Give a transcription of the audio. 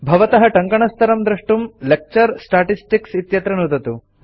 भवतः टङ्कणस्तरं द्रष्टुं लेक्चर स्टेटिस्टिक्स् इत्यत्र नुदतु